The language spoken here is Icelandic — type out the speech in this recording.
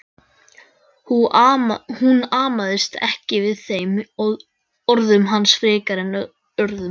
Hún amaðist ekki við þeim orðum hans frekar en öðrum.